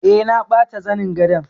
Eh. na bata zanin gadon.